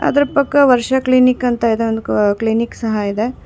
ಅದ್ರು ಪಕ್ಕ ವರ್ಷ ಕ್ಲಿನಿಕ್ ಅಂತ ಇದೊಂದ್ ಕ್ ಕ್ಲಿನಿಕ್ ಸಹ ಇದೆ.